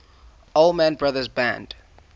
allman brothers band